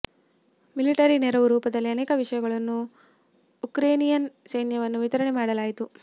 military ನೆರವು ರೂಪದಲ್ಲಿ ಅನೇಕ ವಿಷಯಗಳನ್ನು ಉಕ್ರೇನಿಯನ್ ಸೈನ್ಯವನ್ನು ವಿತರಣೆ ಮಾಡಲಾಯಿತು